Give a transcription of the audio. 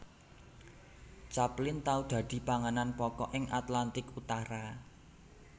Capelin tau dadi panganan pokok ing Atlantik Utara